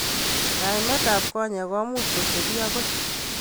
Kaimet ab konyek komuch kotebi akoi.